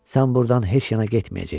Sən buradan heç yana getməyəcəksən.